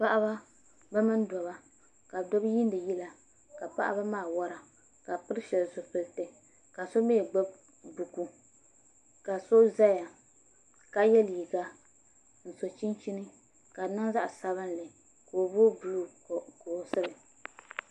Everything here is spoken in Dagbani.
Paɣaba bi mini dabba ka dabba yiindi yila ka paɣaba maa wora ka bi pili shab zipiliti ka so mii gbubi buku ka so ʒɛya ka yɛ liiga n so chinchini ka di niŋ zaɣ sabinli ka o booi buluu dolisili